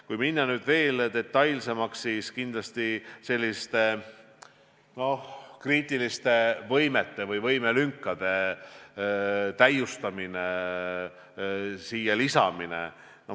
Kui minna detailsemaks, siis kindlasti selliste, noh, kriitiliste võimelünkade täitmine.